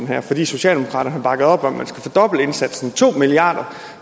her fordi socialdemokraterne har bakket op om at man skal fordoble indsatsen to milliard